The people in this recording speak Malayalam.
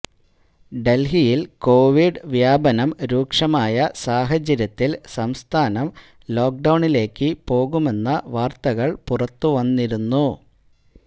ഡൽഹിയിൽ കൊവിഡ് വ്യാപനം രൂക്ഷമായ സാഹചര്യത്തിൽ സംസ്ഥാനം ലോക്കഡൌണിലേക്ക് പോകുമെന്ന വാർത്തകൾ പുറത്തുവന്നിരുന്നു